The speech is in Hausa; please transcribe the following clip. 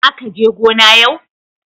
zaka je gona yau.